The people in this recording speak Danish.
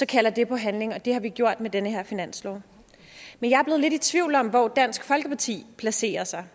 kalder det på handling og det har vi gjort med den her finanslov men jeg er blevet lidt i tvivl om hvor dansk folkeparti placerer sig